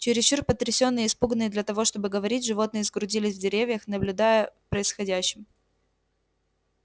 чересчур потрясённые и испуганные для того чтобы говорить животные сгрудились в деревьях наблюдая происходящим